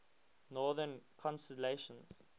northern constellations